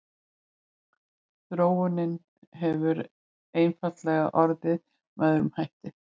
Þróunin hefur einfaldlega orðið með öðrum hætti.